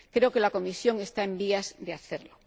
Creo que la Comisión está en vías de hacerlo.